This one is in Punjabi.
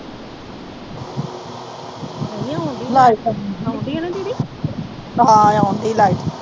ਹਾਂ, ਆਉਂਦੀ ਆ ਲਾਈਟ।